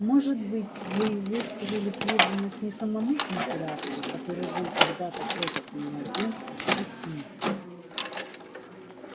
может быть вы высказали преданность не самому императору который был тогда-то крохотным младенцем а символу